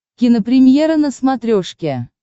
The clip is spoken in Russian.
кинопремьера на смотрешке